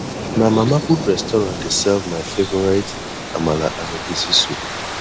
na mama put restaurant dey serve my favorite amala and egusi soup